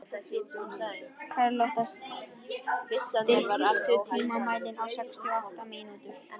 Karlotta, stilltu tímamælinn á sextíu og átta mínútur.